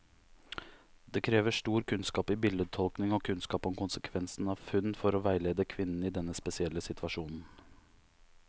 Det krever stor kunnskap i bildetolkning og kunnskap om konsekvens av funn, for å veilede kvinnen i denne spesielle situasjonen.